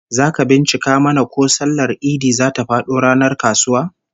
Zaka bincika mana ko sallar Idi zata fado ranar kasuwa?